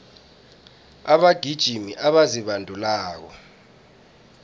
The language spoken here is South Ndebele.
abagijimi abazibandulako